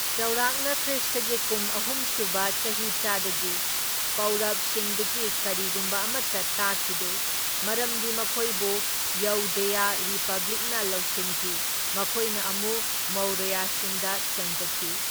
ꯆꯥꯎꯔꯥꯛꯅ ꯈ꯭ꯔꯤꯁꯇꯒꯤ ꯀꯨꯝ ꯑꯍꯨꯝ ꯁꯨꯕ ꯆꯍꯤꯆꯥꯗꯒꯤ ꯄꯧꯔꯕꯁꯤꯡꯗꯒꯤ ꯀꯔꯤꯒꯨꯝꯕ ꯑꯃꯇ ꯇꯥꯈꯤꯗꯦ, ꯃꯔꯝꯗꯤ ꯃꯈꯣꯏꯕꯨ ꯌꯧꯙꯦꯌ ꯔꯤꯄꯕ꯭ꯂꯤꯛꯅ ꯂꯧꯁꯤꯟꯈꯤ, ꯃꯈꯣꯏꯅ ꯑꯃꯨꯛ ꯃꯧꯔꯌꯁꯤꯡꯗ ꯆꯪꯖꯈꯤ꯫